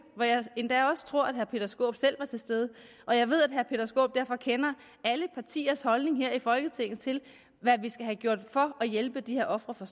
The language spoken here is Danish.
hvor jeg endda også tror at herre peter skaarup selv var til stede og jeg ved at herre peter skaarup derfor kender alle partiers holdning her i folketinget til hvad vi skal have gjort for at hjælpe de her ofre for